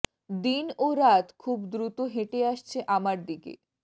দিন ও রাত খুব দ্রুত হেঁটে আসছে আমার দিকে